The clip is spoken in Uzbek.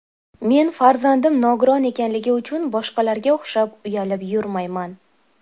Men farzandim nogiron ekanligi uchun boshqalarga o‘xshab uyalib yurmayman.